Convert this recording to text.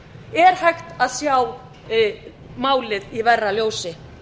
er hægt að sjá málið í verra ljósi